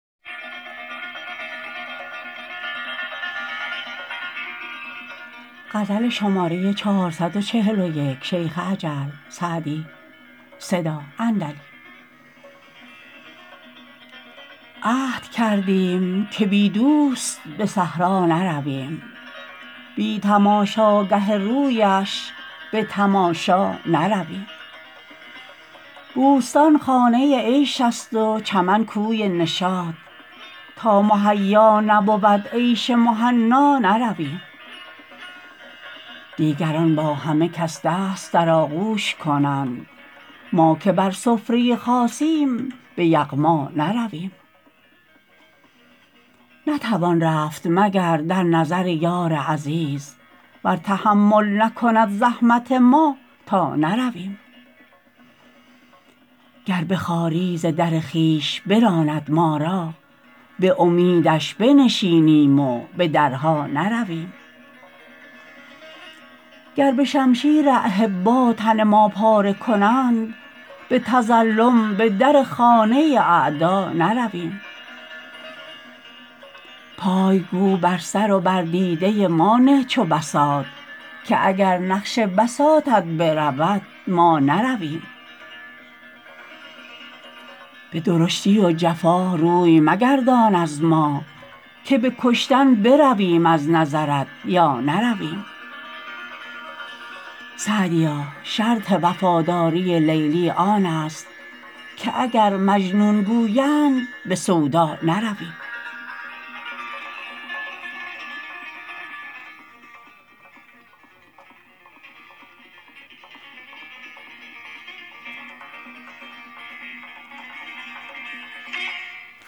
عهد کردیم که بی دوست به صحرا نرویم بی تماشاگه رویش به تماشا نرویم بوستان خانه عیش است و چمن کوی نشاط تا مهیا نبود عیش مهنا نرویم دیگران با همه کس دست در آغوش کنند ما که بر سفره خاصیم به یغما نرویم نتوان رفت مگر در نظر یار عزیز ور تحمل نکند زحمت ما تا نرویم گر به خواری ز در خویش براند ما را به امیدش بنشینیم و به درها نرویم گر به شمشیر احبا تن ما پاره کنند به تظلم به در خانه اعدا نرویم پای گو بر سر و بر دیده ما نه چو بساط که اگر نقش بساطت برود ما نرویم به درشتی و جفا روی مگردان از ما که به کشتن برویم از نظرت یا نرویم سعدیا شرط وفاداری لیلی آن است که اگر مجنون گویند به سودا نرویم